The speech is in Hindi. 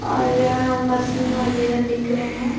और यह मशीन वगैरह दिख रहे हैं।